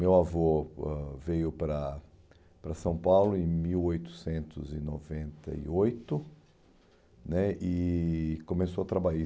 Meu avô ãh veio para para São Paulo em mil oitocentos e noventa e oito né e começou a trabalhar aí.